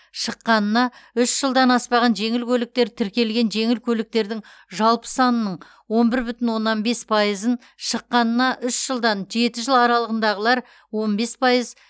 шыққанына үш жылдан аспаған жеңіл көліктер тіркелген жеңіл көліктердің жалпы санының он бір бүтін оннан бес пайызын шыққанына үш жылдан жеті жыл аралығындағылар он бес пайыз